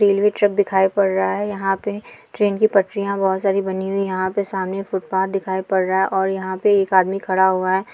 Railway track दिखाई पड़ रहा है यहाँ पे ट्रेन की पटरिया बहुत सारी बनी हुई यहाँ पे सामने फुटपाथ दिखाई पड़ रहा है और यहाँ पे एक आदमी खड़ा हुआ है।